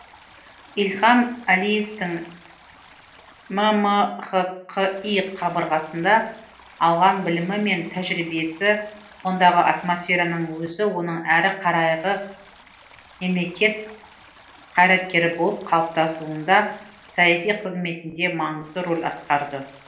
ильхам әлиевтің ммхқи қабырғасында алған білімі мен тәжірибесі ондағы атмосфераның өзі оның әрі қарайғы мемлекет қайраткері болып қалыптасуында саяси қызметінде маңызды рөл атқарды